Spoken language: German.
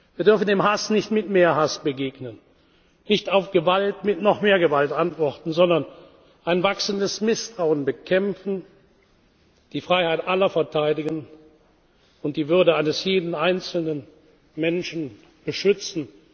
Wir dürfen dem Hass nicht mit mehr Hass begegnen, nicht auf Gewalt mit noch mehr Gewalt antworten, sondern müssen ein wachsendes Misstrauen bekämpfen, die Freiheit aller verteidigen und die Würde eines jeden einzelnen Menschen beschützen.